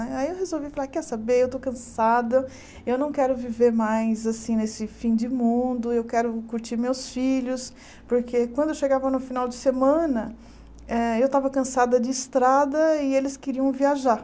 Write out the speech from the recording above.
Né aí eu resolvi falar, quer saber, eu estou cansada, eu não quero viver mais, assim, nesse fim de mundo, eu quero curtir meus filhos, porque quando eu chegava no final de semana, eh eu estava cansada de estrada e eles queriam viajar.